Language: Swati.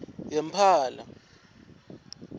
yempala